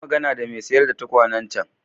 Yi magana da mai sayar da tukwanen can.